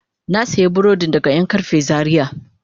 Na sayi burodin daga yankarfe Zaria.